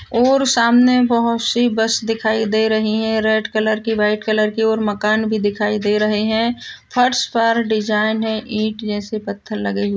और सामने बहुत सी बस दिखाई दे रही है रेड कलर की वाइट कलर की और मकान भी दिखाई दे रहे हैं फर्श पर डिज़ाइन है ईंट जैसे पत्थर लगे हुए--